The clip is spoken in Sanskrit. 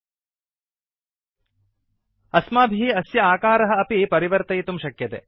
ltस्थगयन्तुgt अस्माभिः अस्य आकारः अपि परिवर्तयितुं शक्यते